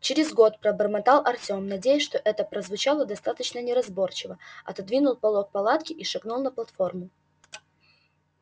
через год пробормотал артём надеясь что это прозвучало достаточно неразборчиво отодвинул полог палатки и шагнул на платформу